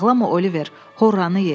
Ağlama Oliver, horranı ye.